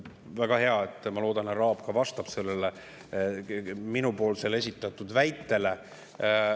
Väga hea, ma loodan, et härra Aab vastab ka minu esitatud väitele.